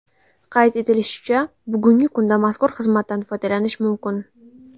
Qayd etilishicha, bugungi kunda mazkur xizmatdan foydalanish mumkin.